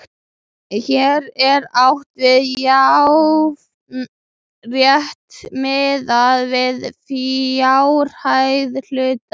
Hér er átt við jafnan rétt miðað við fjárhæð hluta.